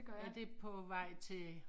Er det på ved til